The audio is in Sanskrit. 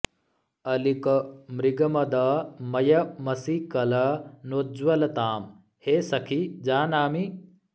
अलिक मृगमद मय मषीकल नोज्ज्वलतां हे सखि जानामि